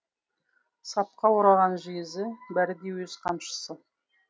сапқа ораған жезі бәрі де өз қамшысы